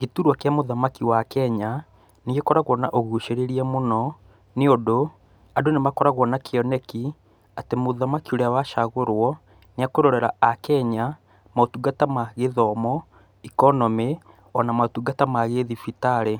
Gĩturwa kĩa mũthamaki wa Kenya, nĩ gĩkoragwo na ũgucĩrĩria mũno nĩ ũndũ andũ nĩ makoragwo na kĩoneki, atĩ mũthamaki urĩa wacagũrwo, nĩ ekũrorera akenya, motungata ma gĩthomo, ikonomĩ ona motungata ma gĩthibitarĩ.